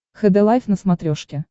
хд лайф на смотрешке